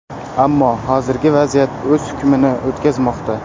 Ammo hozirgi vaziyat o‘z hukmini o‘tkazmoqda.